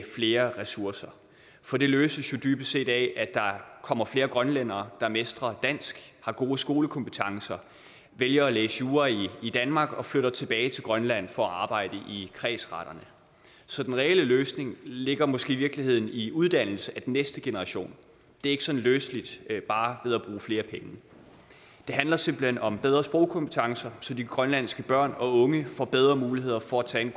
flere ressourcer for det løses jo dybest set af at der kommer flere grønlændere der mestrer dansk har gode skolekompetencer vælger at læse jura i danmark og flytter tilbage til grønland for at arbejde i kredsretterne så den reelle løsning ligger måske i virkeligheden i uddannelse af den næste generation det er ikke sådan løseligt bare ved at bruge flere penge det handler simpelt hen om bedre sprogkompetencer så de grønlandske børn og unge får bedre muligheder for at tage en